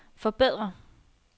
forbedre